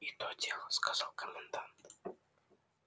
и то дело сказал комендант